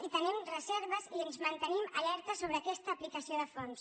i tenim reserves i ens mantenim alerta sobre aquesta aplicació de fons